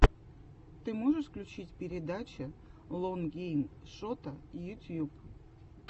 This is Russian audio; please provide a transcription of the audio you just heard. ты можешь включить передача лон гейм шота ютьюб